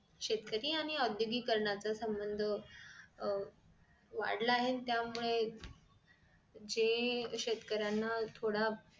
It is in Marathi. शेतकरी आणि ओद्योगीकरणाचं संबंध अह वाढलं आहे त्यामुळे जे शेतकऱ्यांना थोडं